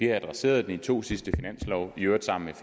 er adresseret i de to sidste finanslove i øvrigt sammen